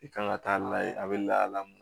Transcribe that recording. I kan ka taa layɛ a bɛ lahala min